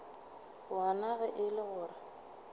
wona ge e le gore